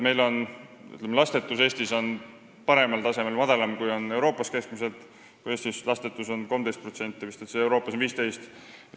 Meil Eestis on lastetusega paremad lood kui Euroopas keskmiselt, lastetute osatähtsus on madalam: kui Eestis on neid vist 13%, siis Euroopas on 15%.